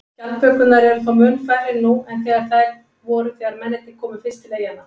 Skjaldbökurnar eru þó mun færri nú en þær voru þegar mennirnir komu fyrst til eyjanna.